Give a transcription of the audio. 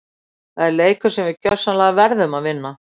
Það er leikur sem við gjörsamlega verðum að vinna!